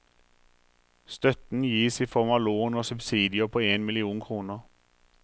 Støtten gis i form av lån og subsidier på en million kroner.